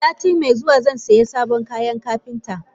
Satin me zuwa zai siya sabon kayan Kapinta.